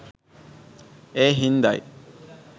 ඒ හින්දයි